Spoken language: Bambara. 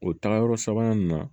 O tagayɔrɔ sabanan nin na